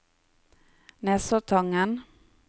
Nesoddtangen